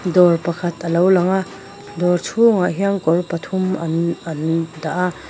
dawr pakhat alo lang a dawr chhungah hian kawr pathum an an dah a.